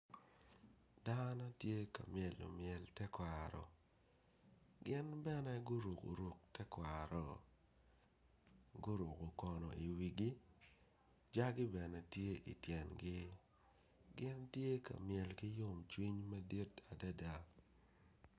Dano tye ka myelo myel tekwaro gin bene guruku ruku tekwaro guruku kono i wigi jagi bene tye itengi gin tye ka myel ki yomcwiny madit adada